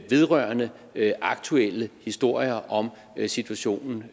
vedrørende aktuelle historier om situationen